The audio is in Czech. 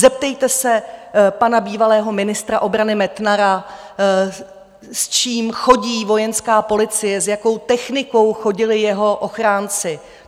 Zeptejte se pana bývalého ministra obrany Metnara, s čím chodí Vojenská policie, s jakou technikou chodili jeho ochránci.